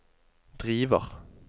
driver